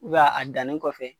ubɛ a dannin kɔfɛ